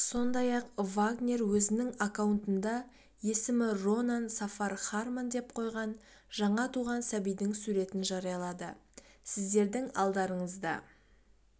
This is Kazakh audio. сондай-ақ вагнер өзінің аккаунтында есімінронан сафар хармон деп қойған жаңа туған сәбидің суретін жариялады сіздердің алдарыңызда